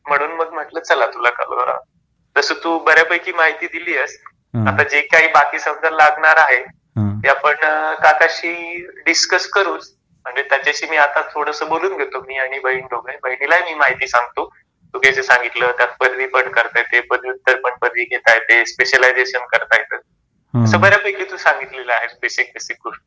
म्हणून मग म्हटल चला करा तस तू बऱ्या पैकी माहिती दिली आहेस. आता जे काही बाकी समजा लागणार आहे त्या आपण काकांशी डिस्कस करूच. आणि त्याच्याशी मी आता थोडस बोलून घेतो, मी आणि बहीण दोघे. बहिणीलाही मी माहिती सांगतो. तू जे जे सांगितल ते त्यात पदवी पण करता येते, पदव्युत्तर पण पदवी घेता येते स्पेशलायझेशन करता येत अस बऱ्या पैकी तू सांगितलेल आहेस बेसिक बेसिक गोष्टी.